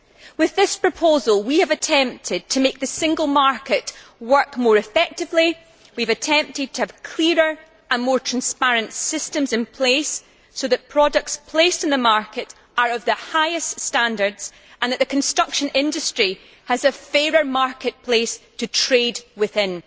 With this proposal we have attempted to make the single market work more effectively, we have attempted to have clearer and more transparent systems in place so that products placed on the market are of the highest standards and that the construction industry has a fairer market place to trade within.